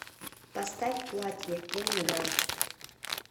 поставь платье ленинград